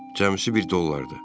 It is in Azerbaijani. Cəmi bir dollardır.